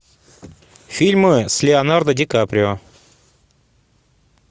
фильмы с леонардо ди каприо